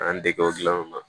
An dege o gilanw na